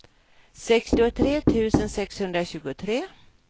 sextiotre tusen sexhundratjugotre